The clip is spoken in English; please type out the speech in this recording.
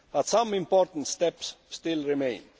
But some important steps still remain.